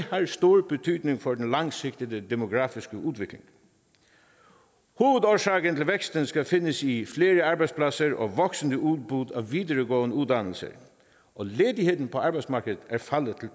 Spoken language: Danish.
har stor betydning for den langsigtede demografiske udvikling hovedårsagen til væksten skal findes i flere arbejdspladser og et voksende udbud af videregående uddannelser og ledigheden på arbejdsmarkedet er faldet til